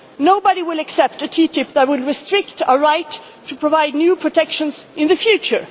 for the environment. Nobody will accept a TTIP that will restrict our right to provide new protections